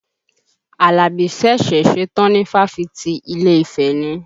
Àlàbí ṣẹ̀ṣẹ̀ ṣetán ni fáfitì Ilé-ifẹ̀ ni